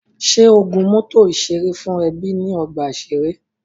Ṣé o gun mọ́tọ̀ ìṣeré fún ẹbí ní ọgbà ìṣeré?